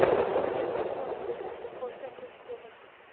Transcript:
Unga o‘z vaqtida ta’sir ko‘rsatish kerak.